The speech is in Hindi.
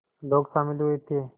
लोग शामिल हुए थे